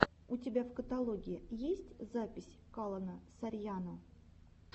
у тебя в каталоге есть запись калона сарьяно